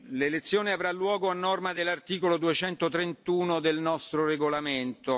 L'elezione avrà luogo a norma dell'articolo 231 del nostro regolamento.